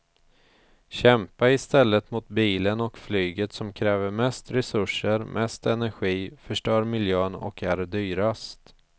Kämpa i stället mot bilen och flyget som kräver mest resurser, mest energi, förstör miljön och är dyrast.